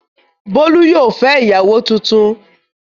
Bólú yóò fẹ́ ìyàwó tuntun.